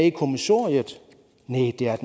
i kommissoriet næh det er